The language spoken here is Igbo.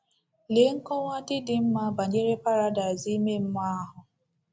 Lee nkọwa dị dị mma banyere paradaịs ime mmụọ ahụ!